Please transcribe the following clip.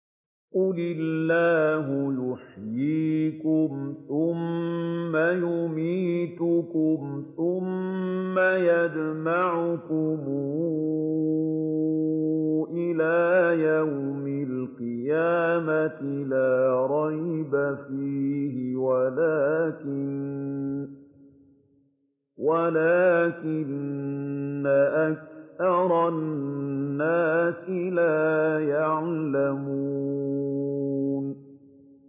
قُلِ اللَّهُ يُحْيِيكُمْ ثُمَّ يُمِيتُكُمْ ثُمَّ يَجْمَعُكُمْ إِلَىٰ يَوْمِ الْقِيَامَةِ لَا رَيْبَ فِيهِ وَلَٰكِنَّ أَكْثَرَ النَّاسِ لَا يَعْلَمُونَ